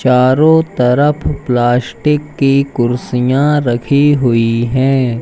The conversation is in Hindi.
चारों तरफ प्लास्टिक की कुर्सियां रखी हुई हैं।